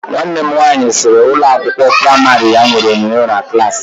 Nwanne m nwaanyị sịrị na ụlọ akwụkwọ praimari ya nwere onyonyo na klaasị.